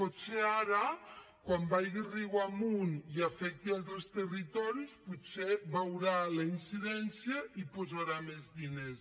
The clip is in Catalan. potser ara quan vagi riu amunt i afecti a altres territoris potser veurà la incidència i hi posarà més diners